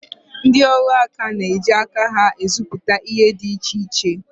Ndị ọrụaka na-eji aka ha rụpụta ihe dị iche iche